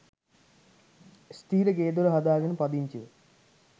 ස්ථිර ගේ දොර හදාගෙන පදිංචිව